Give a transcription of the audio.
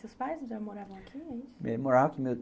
Seus pais já moravam aqui é isso?